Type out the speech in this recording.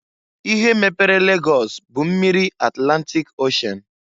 Ihe mepere Lagọs bụ mmiri Atlantịk Oshen.